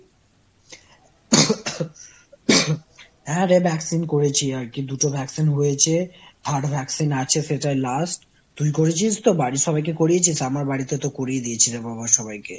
হ্যাঁ রে vaccine করেছি আর কি দুটো vaccine হয়েছে third vaccine আছে সেটাই last তুই করেছিস তো? বাড়ির সবাইকে করিয়েছিস? আমার বাড়িতে তো করিয়ে দিয়েছি রে বাবা সবাইকে।